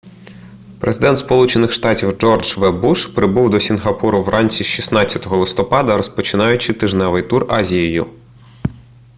президент сполучених штатів джордж в буш прибув до сінгапуру вранці 16 листопада розпочинаючи тижневий тур азією